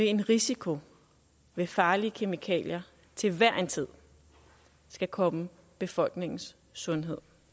en risiko ved farlige kemikalier til hver en tid skal komme befolkningens sundhed